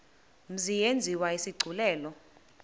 mzi yenziwe isigculelo